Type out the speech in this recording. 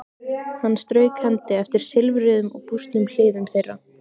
Hann strauk hendi eftir silfruðum og bústnum hliðum þeirra.